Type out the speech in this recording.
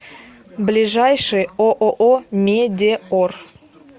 ближайший ооо медеор